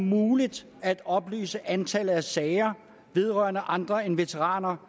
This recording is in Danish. muligt at oplyse antallet af sager vedrørende andre end veteraner